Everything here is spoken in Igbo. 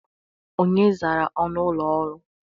Onye zara ọnụ ụlọ ọrụ?